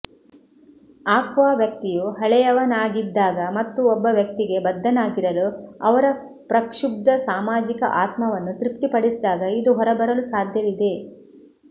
aqua ವ್ಯಕ್ತಿಯು ಹಳೆಯವನಾಗಿದ್ದಾಗ ಮತ್ತು ಒಬ್ಬ ವ್ಯಕ್ತಿಗೆ ಬದ್ಧನಾಗಿರಲು ಅವರ ಪ್ರಕ್ಷುಬ್ಧ ಸಾಮಾಜಿಕ ಆತ್ಮವನ್ನು ತೃಪ್ತಿಪಡಿಸಿದಾಗ ಇದು ಹೊರಬರಲು ಸಾಧ್ಯವಿದೆ